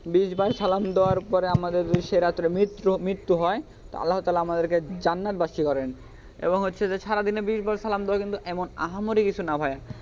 বিশবার সালাম দেওয়ার পরে আমাদের সেরা মিত্র মৃত্যু হয় আল্লাহ তালহা আমাদেরকে জান্নাতবাসী করেন এবং হচ্ছে যে সারাদিনে বিশবার সালাম দেওয়া কিন্তু এমন আহামরি কিছু না ভাইয়া.